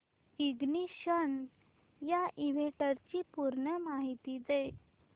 ignition या इव्हेंटची पूर्ण माहिती दे